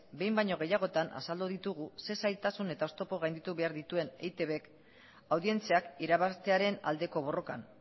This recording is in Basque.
behin baino gehiagotan azaldu ditugu ze zailtasun eta oztopo gainditu behar dituen eitbk audientziak irabaztearen aldeko borrokan